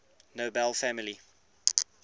nobel family